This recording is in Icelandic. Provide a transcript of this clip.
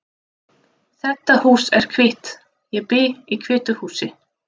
Þetta hús er hvítt. Ég bý í hvítu húsi.